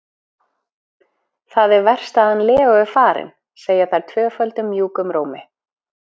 Það er verst að hann Leó er farinn, segja þær tvöföldum mjúkum rómi.